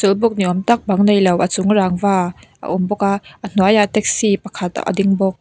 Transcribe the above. chawlhbuk ni âwm tak bang nei lo a chung rangva a awm bawk a a hnuaiah taxi pakhat a ding bawk.